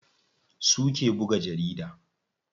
Su suke buga jarida.